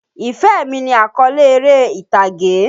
Ìfẹ́ mi ni àkọ́le eré ìtàgé.